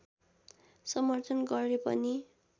समर्थन गरे पनि